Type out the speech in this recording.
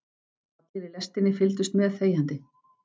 Allir í lestinni fylgdust með þegjandi.